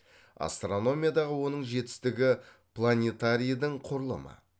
астрономиядағы оның жетістігі планитарийдің құрылымы